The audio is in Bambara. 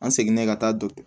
An seginnen ka taa dɔ